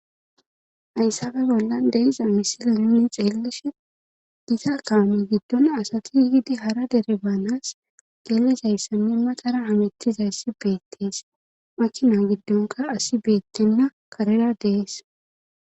Hayssappe bollan deiza misile nuni xeelishe giza kaame giddon asati yigidi hara dere baanas gelizayssanne matara amettizayssi beettees makina giddonka asi beettenna karera dees